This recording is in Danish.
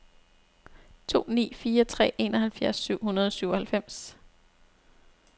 to ni fire tre enoghalvfjerds syv hundrede og syvoghalvfems